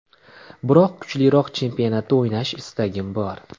Biroq kuchliroq chempionatda o‘ynash istagim bor.